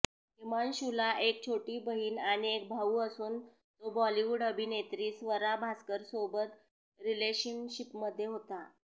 हिमांशूला एक छोटी बहीण आणि एक भाऊ असून तो बॉलीवूड अभिनेत्री स्वरा भास्करसोबत रिलेशनशिपमध्ये होता